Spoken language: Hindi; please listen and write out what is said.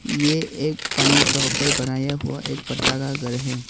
ये एक पानी का ऊपर बनाया हुआ एक पत्ता का घर है।